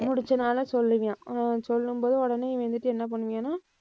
முடிச்சதுனால சொல்லுவான். அவன் சொல்லும்போது உடனே இவன் வந்துட்டு என்ன பண்ணுவான்னா